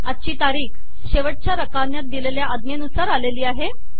आजची तारीख शेवटच्या रकान्यात दिलेल्या आज्ञेनुसार आलेली आहे